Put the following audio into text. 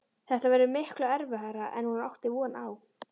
Þetta verður miklu erfiðara en hún átti von á.